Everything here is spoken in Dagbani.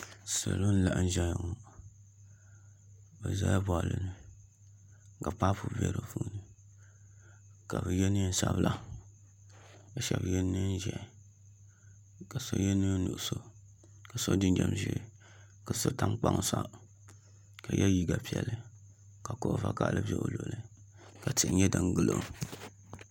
Salo n laɣam ʒɛya ŋo bi ʒɛla boɣali ni ka paapu bɛ di puuni ka bi yɛ neen sabila ka shab yɛ neen ʒiɛhi ka so yɛ neen nuɣso ka so jinjɛm ʒiɛ ka so tam kpaŋ sa ka yɛ liiga piɛlli ka kuɣu vakaɣali ʒɛ o luɣuli ka tihi nyɛ din gilo